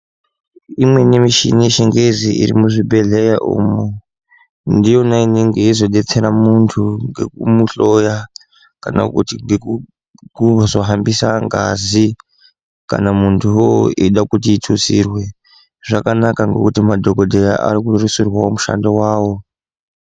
Imweni mishini yechingezi iri muzvibhedhlera umo ndiyona inenge yeizodetsera muntu ngekumuhloya kana kuti ngekuzo hambisa ngazi kana muntuwo eida kuti itutsirwe zvakanaka ngekuti madhokodheya arikurerutsirwawo mushando wavo.